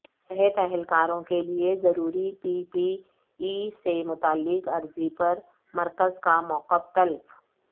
صحت اہلکاروں کیلئےضروری پی پی ای سے متعلق عرضی پر مرکز کا موقف طلب